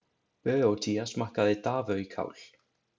Böótía smakkaði davöjkál.